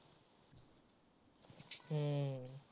हम्म